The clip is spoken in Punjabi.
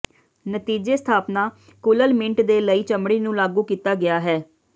ਨਤੀਜੇ ਸਥਾਪਨਾ ਕੁਲ੍ਲ ਮਿੰਟ ਦੇ ਲਈ ਚਮੜੀ ਨੂੰ ਲਾਗੂ ਕੀਤਾ ਗਿਆ ਹੈ